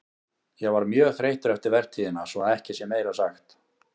Ég var mjög þreyttur eftir vertíðina svo að ekki sé meira sagt.